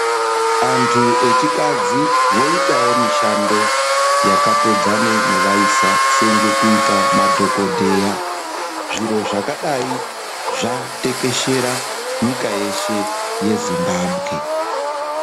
Antu echikadzi voitawo mishando yakatodzane nevaisa senge kuita madhokodheya. Zviro zvakadai zvatekeshera nyika yeshe yeZimbabwe.